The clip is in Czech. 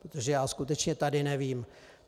Protože já skutečně tady nevím.